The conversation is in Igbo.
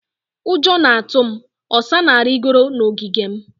Ụjọ na-atụ m. Osa na-arịgoro n'ogige m.